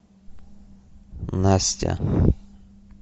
настя